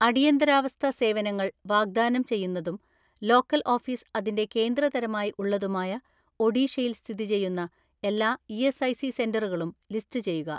"അടിയന്തരാവസ്ഥ സേവനങ്ങൾ വാഗ്‌ദാനം ചെയ്യുന്നതും ലോക്കൽ ഓഫീസ് അതിന്റെ കേന്ദ്ര തരമായി ഉള്ളതുമായ ഒഡീഷയിൽ സ്ഥിതി ചെയ്യുന്ന എല്ലാ ഇ.എസ്.ഐ.സി സെന്ററുകളും ലിസ്റ്റുചെയ്യുക."